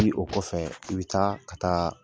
o kɔfɛ i bɛ taa ka taa.